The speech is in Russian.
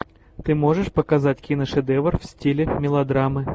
ты можешь показать киношедевр в стиле мелодрамы